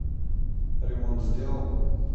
ремонт сделал